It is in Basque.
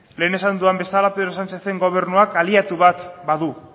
lehen esan dudan bezala pedro sánchezen gobernuak aliatu bat badu